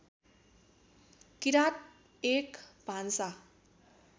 किरात एक भान्सा